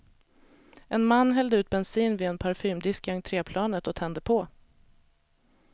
En man hällde ut bensin vid en parfymdisk i entréplanet och tände på.